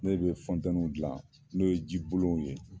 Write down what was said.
Ne bɛ dilan n'o ye jibolonw ye.